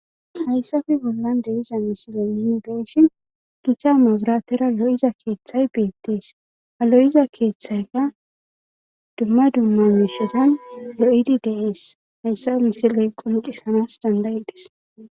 hayssafe bollan de iza misile ninibeeshin gita mabiratera lo7iza keeththay beettees ha lo7iza keeththayka dumma dumma mishetan lo7idi deees hayssafe misiley qomqisanas dandayi des